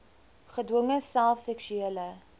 gedwonge self seksuele